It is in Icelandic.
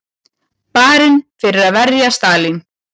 Barinn fyrir að verja Stalín